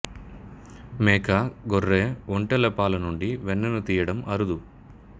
మేక గొర్రె ఒంటెల పాల నుండి వెన్నను తీయడం అరుదు